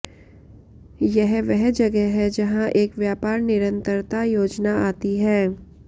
यह वह जगह है जहां एक व्यापार निरंतरता योजना आती है